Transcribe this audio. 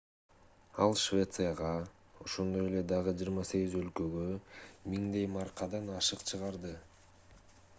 ал швецияга ошондой эле дагы 28 өлкөгө 1000 маркадан ашык чыгарды